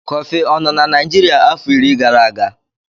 Kọfị ọ nọ na Naijiria afọ iri gara aga.